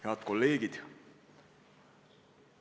Head kolleegid!